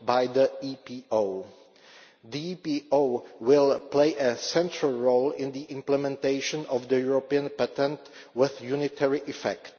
The EPO will play a central role in the implementation of the European Patent with unitary effect.